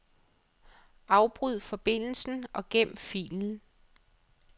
Afbryd forbindelsen og gem filen.